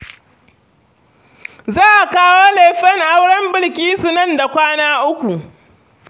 Za a kawo lefen auren Bilkisu nan da kwana uku.